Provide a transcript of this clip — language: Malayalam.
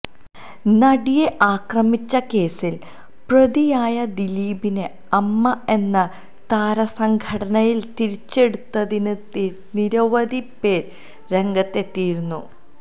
നടിയെ ആക്രമിച്ച കേസിൽ പ്രതിയായ ദിലീപിനെ അമ്മ എന്ന താരസംഘടനയിൽ തിരിച്ചെടുത്തതിനെതിരെ നിരവധി പേർ രംഗത്തെത്തിയിരുന്നു